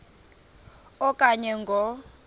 a okanye ngo